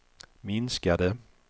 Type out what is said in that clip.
minskade